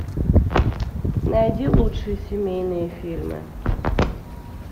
найди лучшие семейные фильмы